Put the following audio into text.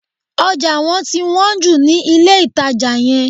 Ọjà wọ́n ti hán jù ní ilé-ìtàjà yẹn